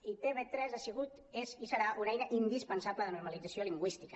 i tv3 ha sigut és i serà una eina indispen·sable de normalització lingüística